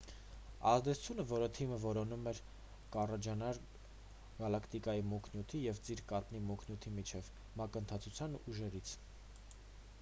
ազդեցությունը որ թիմը որոնում էր կառաջանար գալակտիկայի մուգ նյութի և ծիր կաթնի մուգ նյութի միջև մակընթացության ուժերից